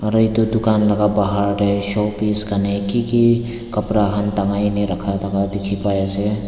aru edu dukan laka bahar tae showcase karni kiki kapra khan tangai kena dikhipaiase.